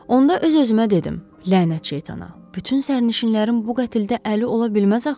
Onda öz-özümə dedim, lənət şeytana, bütün sərnişinlərin bu qətldə əli ola bilməz axı.